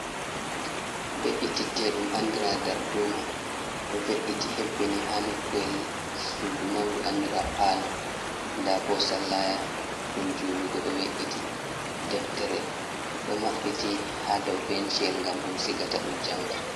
Beɗi titte ɗum andira dar duma, Ɗo we’iti hebbini ha noku’el sudu maundu andira falo, da bo sallaya ɗum julugo do we’iti, deftere do mabbiti ha dau benciyel gam ɗum sigata ɗum janga.